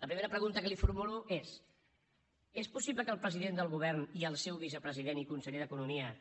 la primera pregunta que li formulo és és possible que el president del govern i el seu vicepresident i conseller d’economia